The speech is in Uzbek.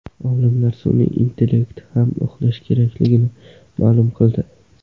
Olimlar sun’iy intellekt ham uxlashi kerakligini ma’lum qildi.